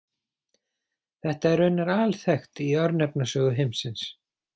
Þetta er raunar alþekkt í örnefnasögu heimsins.